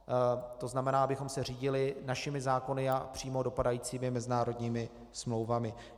To znamená, abychom se řídili našimi zákony a přímo dopadajícími mezinárodními smlouvami.